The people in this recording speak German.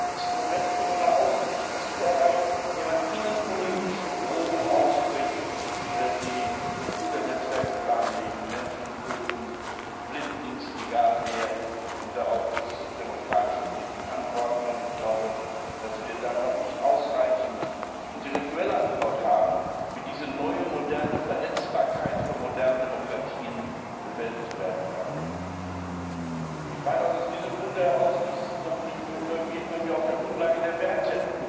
Das heißt, wir haben Instrumente, wo man außenpolitische Ziele erreicht, indem man innenpolitische Drohungen ausspricht, die Computernetzwerke lahmlegen, Menschen töten blindlings, egal wen und darauf muss demokratische Politik antworten. Ich glaube, dass wir da noch nicht ausreichend die intellektuelle Antwort haben, wie diese neue moderne Verletzbarkeit von modernen Demokratien bewältigt werden kann. Aus diesem Grunde heraus geht dies natürlich nur, wenn wir stärker auf der Grundlage der Werte